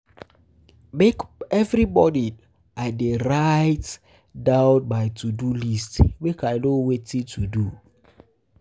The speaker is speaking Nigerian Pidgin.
Every morning, I dey write dey write um down my to-do list, make I know wetin to do.